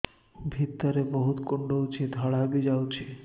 ଭିତରେ ବହୁତ କୁଣ୍ଡୁଚି ଧଳା ବି ଯାଉଛି